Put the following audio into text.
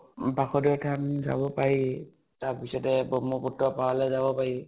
বাসুধৰ ধাম যাব পাৰি । তাৰপিছতে ব্ৰহ্মপুত্ৰ পাৰলৈ যাব পাৰি